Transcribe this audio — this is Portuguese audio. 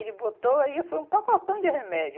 Ele botou, aí foi um pacotão de remédio.